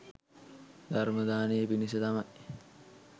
ධර්ම දානය පිණිස තමයි